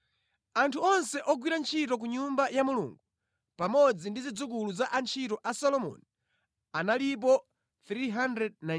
Anthu onse ogwira ntchito ku Nyumba ya Mulungu pamodzi ndi zidzukulu za antchito a Solomoni analipo 392.